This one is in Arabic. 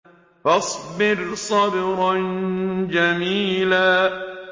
فَاصْبِرْ صَبْرًا جَمِيلًا